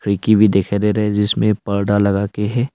खिड़की भी दिखाई दे रहा है जिसमें पर्दा लगा के है।